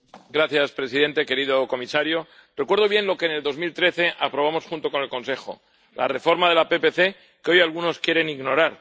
Señor presidente, querido comisario, recuerdo bien lo que en 2013 aprobamos junto con el Consejo la reforma de la PPC, que hoy algunos quieren ignorar.